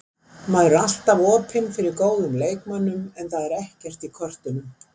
Maður er alltaf opinn fyrir góðum leikmönnum en það er ekkert í kortunum.